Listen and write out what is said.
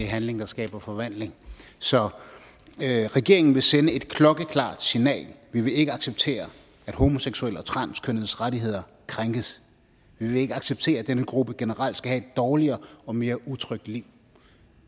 handling der skaber forvandling så regeringen vil sende et klokkeklart signal vi vil ikke acceptere at homoseksuelle og transkønnedes rettigheder krænkes vi vil ikke acceptere at denne gruppe generelt skal have dårligere og mere utrygt liv